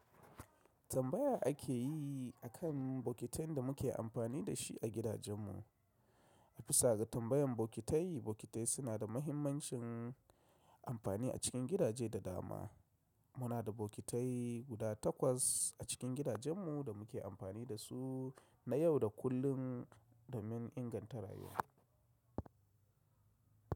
Tambaya ake yi akan bokitai da muke amfani da shi a gidajen mu. A bisa ga tambayan bokitai, bokitai suna da muhimmancin amfani a cikin gidaje da dama. Muna da bokitai guda takwas a cikin gidajen mu da muke amfani da su na yau da kullum domin inganta rayuwa.